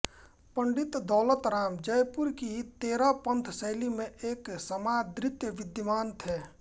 पं दौलतराम जयपुर की तेरहपंथ शैली में एक समादृत विद्वान थे